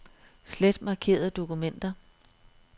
Slet markerede dokumenter.